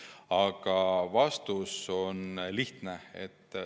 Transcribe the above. Aga vastus on lihtne.